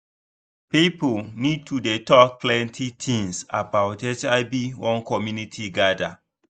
people need to dey talk plenty things about hiv when community gather.